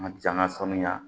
A ka ca an ka sanuya